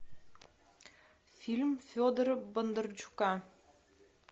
фильм федора бондарчука